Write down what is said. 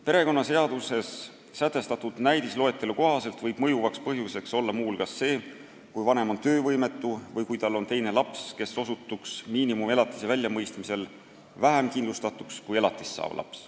Perekonnaseaduses sätestatud näidisloetelu kohaselt võib mõjuvaks põhjuseks olla muu hulgas see, kui vanem on töövõimetu või kui tal on teine laps, kes osutuks miinimumelatise väljamõistmisel vähem kindlustatuks kui elatist saav laps.